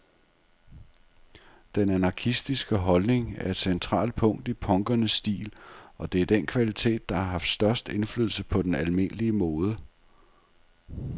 Den anarkistiske holdning er et centralt punkt i punkernes stil, og det er den kvalitet, der har haft størst indflydelse på den almindelige mode.